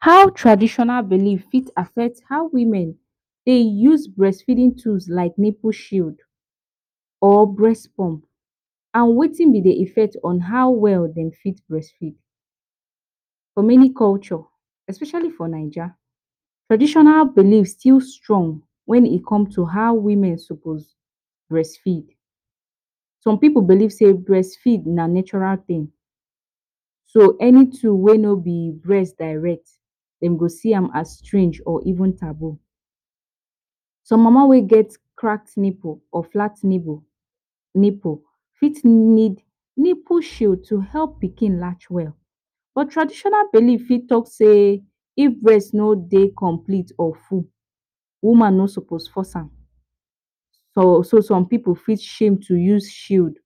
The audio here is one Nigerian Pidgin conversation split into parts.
How traditional belief fit affect how women dey use breastfeeding tools like nipple shield or breast pump and wetin be de effect on how well dem fit breastfeed? For many culture especially for naija traditional belief still strong when e come to how women suppose breastfeed some pipu belief sey breastfeed na natural tin, so any tool whey no be breast direct dem go see am as strange or even taboo. Some mama whey get cracked nipple or flat nipple fit need nipple shield to help pikin large well but traditional belief fit talk sey if breast no dey complete or full, woman no suppose force am so some pipu fit shame to use shield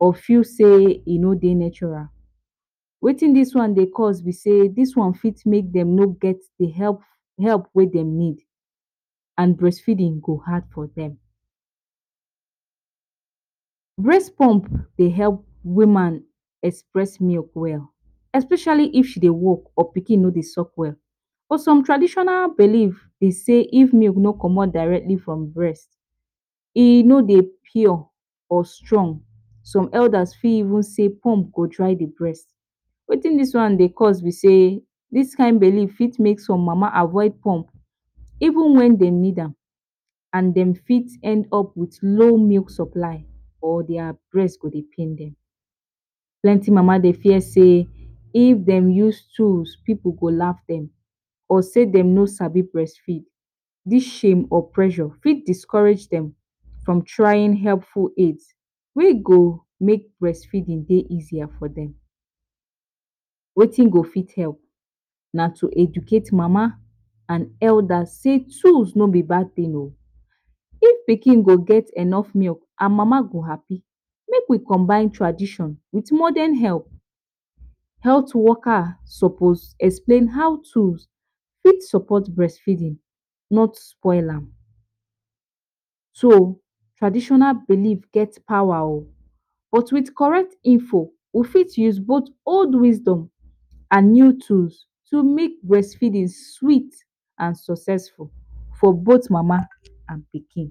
or feel sey e no dey natural. Wetin dis one dey cost be say dis one fit make dem no get dey help help whey dem need and breastfeeding go hard for dem. Breast pump dey help woman express milk well especially if she dey work or urpikin no dey suck well but some traditional belief be sey if breast milk no comot directly from de breast e no dey pure or strong, some elders fit even say pump go dry de breast, wetin dis one dey cos be sey dis kind belief fit make some mama avoid pump even wen dem need am and dem fit end up with no milk supply and their breast go dey pain dem. plenty mama dey fear say if dem use tools pipu go laugh dem or say dem no sabi breastfeed dis shame or pressure fit discourage dem from trying helpful aid whey go make breastfeeding dey easier for dem wetin go fit help, na to educate mama and elders sey tools no be bad tin oo, if pikin go get better milk and mama go happy make we combine tradition with modern help. health workers suppose explain how to fit support breastfeeding not spoil am, so traditional belief get power o but with correct info we fit use both old wisdom and new tools to make breastfeeding sweet and successful for both mama and pikin.